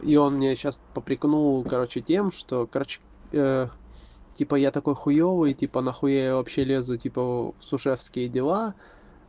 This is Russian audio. и он мне сейчас попрекнул короче тем что короче типа я такой хуёвый типа нахуя я вообще лезу типа в сушефевские дела